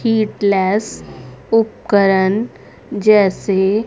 उपकरण जैसे--